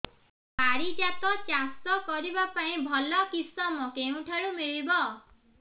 ପାରିଜାତ ଚାଷ କରିବା ପାଇଁ ଭଲ କିଶମ କେଉଁଠାରୁ ମିଳିବ